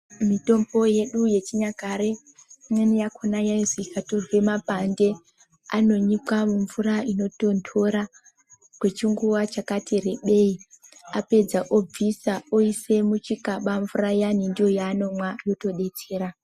Mitombo yedu yechinyakare imweni yakhona yaizi ikatorwe mapande anonyikwa mumvura inotonthora kwechinguwa chakati rebei apedza obvisa oise muchikaba mvura iyani ndoyaanomwa yotodetsera.